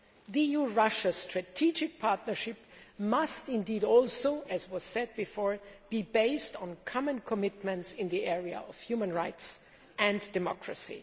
The EU Russia strategic partnership must as was said before be based on common commitments in the area of human rights and democracy.